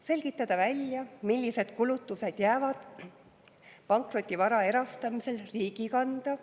Selgitada välja, millised kulutused jäävad pankrotivara erastamisel riigi kanda.